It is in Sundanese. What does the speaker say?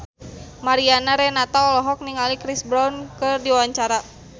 Mariana Renata olohok ningali Chris Brown keur diwawancara